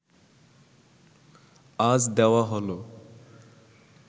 আজ দেওয়া হলো